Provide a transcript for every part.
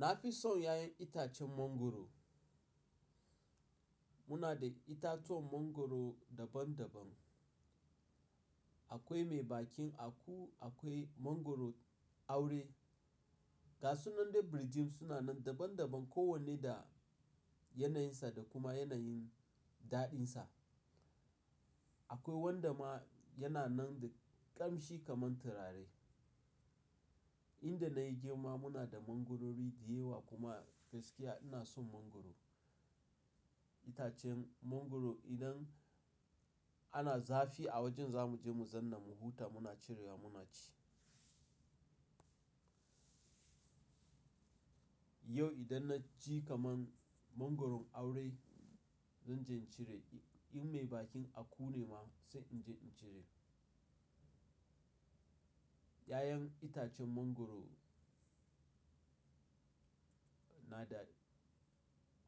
Na fi son 'ya'yan itacen mangwaro. Muna da itatuwan mangwaro daban-daban. Akwai mai bakin aku, akwai mangwaro aure. Ga sunan da birjit suna nan daban-daban, kowanne da yanayinsa da kuma yanayin daɗinsa. Akwai wanda ma yana nan da ƙamshi kamar turare. Inda na yi girma muna da mangwaro dayawa kuma gaskiya ina son mangwaro. Itacen mangwaro idan ana zafi a wajen za mu je mu zanna mu huta muna cirewa muna ci. Yau idan na ji kaman mangwaron aure zan je in cire, in mai bakin aku ne ma sai in je in cire. 'Ya'yan itacen mangwaro na da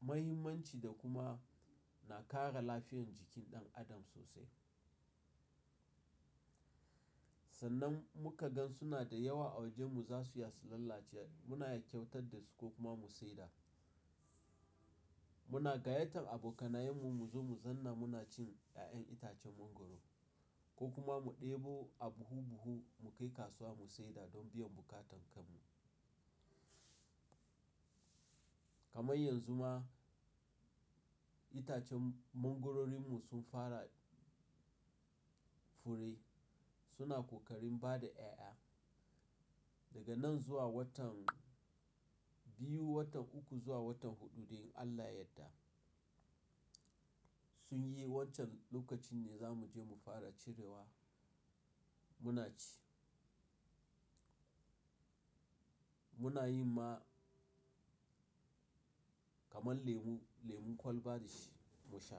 mahimmanci da kuma na kara lafiyar jikin ɗan adam sosai. Sannan muka ga suna da yawa a wajen mu za su iya su lalace muna yakkyautar da su ko kuma mu saida. Muna gayyatar abokanayenmu mu zo mu zanna muna cin 'ya'yan itacen mangwaro ko kuma mu ɗebo a buhu-buhu mu kai kasuwa mu saida don biyan buƙatankamu. Kamar yanzu ma itacen mangwarorinmu sun fara fure suna ƙoƙarin bada 'ya'ya. Daga nan zuwa watan biyu, watan uku zuwa watan huɗu dai in Allah yadda sun yi, wancan lokacin ne za mu je mu fara cirewa muna ci. Muna yin ma kamar lemu, lemun kwalba dashi mu sha.